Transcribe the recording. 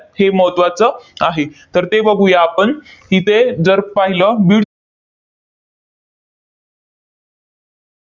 हे महत्त्वाचं आहे. तर ते बघूया आपण. इथे जर पाहिलं,